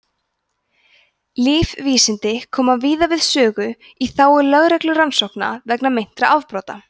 lífvísindi koma víða við sögu í þágu lögreglurannsókna vegna meintra afbrota